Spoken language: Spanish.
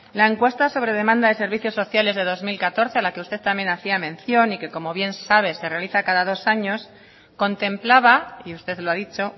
la encuesta sobre demanda de servicios sociales de dos mil catorce a la que usted también hacía mención y que como bien sabe se realiza cada dos años contemplaba y usted lo ha dicho